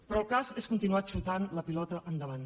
però el cas és continuar xutant la pilota endavant